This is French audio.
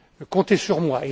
Comptez sur moi.